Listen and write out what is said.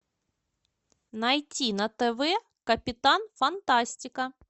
найти на тв капитан фантастика